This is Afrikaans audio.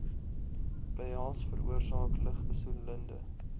behels veroorsaak lugbesoedelende